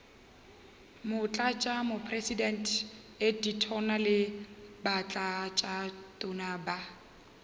motlatšamopresidente ditona le batlatšatona ba